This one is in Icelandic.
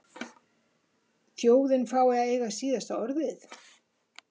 Þjóðin fái að eiga síðasta orðið?